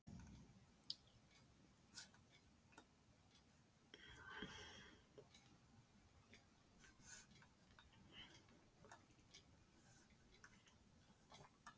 Lillý Valgerður Pétursdóttir, fréttamaður: Viljið þið halda þessum aðgerðum áfram?